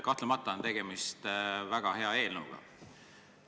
Kahtlemata on tegemist väga hea eelnõuga.